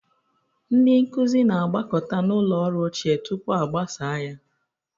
Ndị nkuzi na-agbakọta na ụlọ ọrụ ochie tupu e gbasaa ya.